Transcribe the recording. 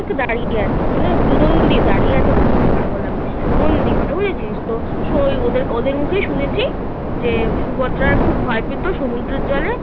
দাঁড়িয়ে আছে. দাঁড়িয়ে আছে বলছি কি পাগল আমি. মন্দির ওটা বুঝেছিস তো? ওদের ওদের মুখেই শুনেছি. যে সুভদ্রার খুব ভয় পেত সমুদ্রের জলে.